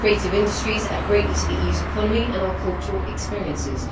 The creative industries add greatly to the EU's economy and our cultural experiences.